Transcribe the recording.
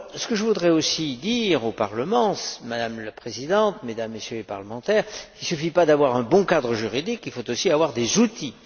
Je voudrais aussi dire au Parlement, Madame la Présidente, Mesdames et Messieurs les parlementaires, qu'il ne suffit pas d'avoir un bon cadre juridique, il faut aussi avoir des outils.